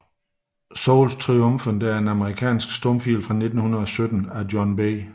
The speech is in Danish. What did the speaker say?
Souls Triumphant er en amerikansk stumfilm fra 1917 af John B